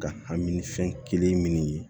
Ka hami ni fɛn kelen minnu ye